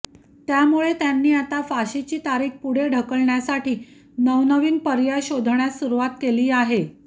त्यामुळे त्यांनी आता फाशीची तारिख पुढे ढकलण्यासाठी नवनवीन पर्याय शोधण्यास सुरुवात केली आहे